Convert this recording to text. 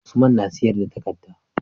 Usman na siyar da takadda